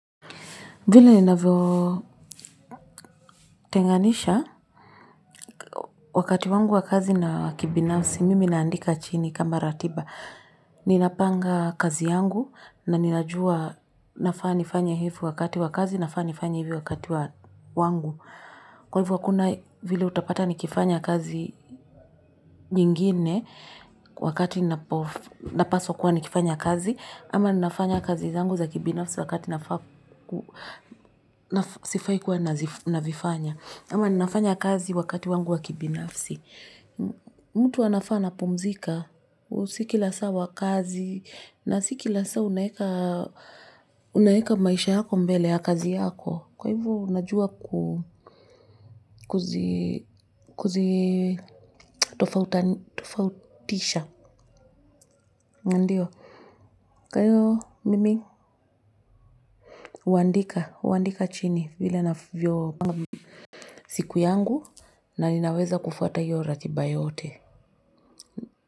Vile ninavyo tenganisha, wakati wangu wakazi na kibinafsi, mimi naandika chini kama ratiba. Ninapanga kazi yangu na ninajua nafaa nifanye hivi wakati wa kazi, nafaa nifanya hivi wakati wangu. Kwa hivyo kuna vile utapata nikifanya kazi nyingine wakati napaswa kuwa nikifanya kazi ama nafanya kazi zangu za kibinafsi wakati sifai kua navifanya, ama nafanya kazi wakati wangu wa kibinafsi. Mtu anafaa anapumzika. Si kila saa wa kazi. Na si kila saa unaweka maisha yako mbele ya kazi yako. Kwa hivyo unajua kuzi tofautisha. Ndiyo. Kwa hiyo mimi huandika. Huandika chini. Vile navyo panga siku yangu. Na ninaweza kufuata hiyo ratiba yote.